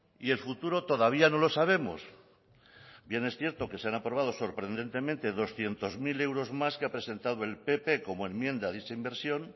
y el futuro todavía no lo sabemos bien es cierto que se han aprobado sorprendentemente doscientos mil euros más que ha presentado el pp como enmienda de esa inversión